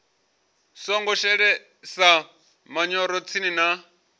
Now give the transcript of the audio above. songo shelesa manyoro tsini na